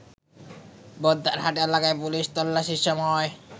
বহদ্দারহাট এলাকায় পুলিশি তল্লাশির সময়